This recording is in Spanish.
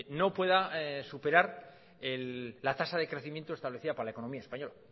no pueda superar la tasa de crecimiento establecida para la economía española